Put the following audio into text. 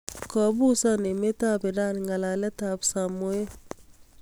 Kopuusan emet ap Iran ng'alaalet ap Samoei